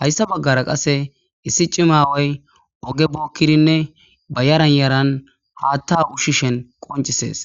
hayssa baggara qasse issi cimaway oge bookkirinne bayaran yaran haatta ushshishen qoncisees.